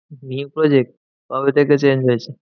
New project কবে থেকে change হয়েছে?